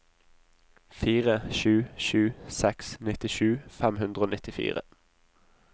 fire sju sju seks nittisju fem hundre og nittifire